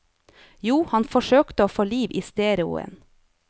Jo, han forsøkte å få liv i stereoen.